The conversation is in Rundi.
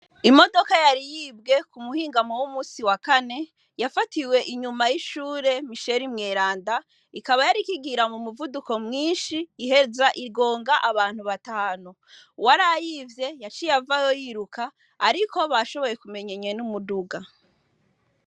Imodoka yari yibwe ku muhingamo w'umunsi wa kane yafatiwe inyuma y'ishure Michel mweranda yariko igenda mu muvuduko mwinshi iheza igonga abantu batanu. Uwarayivye yaciye avayo yiruka ariko bashoboye kumenya nyene umuduga.